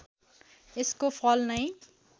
यसको फल नै